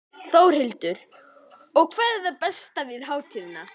Þórhildur: Og hvað er það besta við hátíðina?